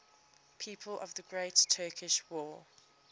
people of the great turkish war